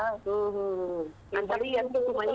ಹ್ಮ್‌ ಹ್ಮ್‌ ಹ್ಮ್‌ ಮಳಿ? .